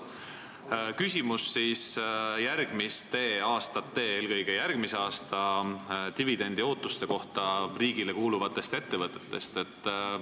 Mul on küsimus järgmiste aastate, eelkõige järgmise aasta dividendiootuste kohta riigile kuuluvatest ettevõtetest.